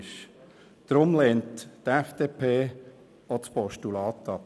Deshalb lehnt die FDP auch ein Postulat ab.